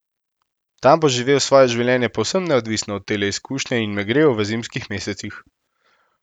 Tam bo živel svoje življenje povsem neodvisno od tele izkušnje in me grel v zimskih mesecih.